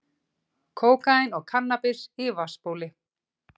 Kókaín og kannabis í vatnsbóli